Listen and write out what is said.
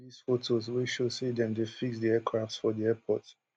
e also release photos wey show say dem dey fix di aircraft for di airport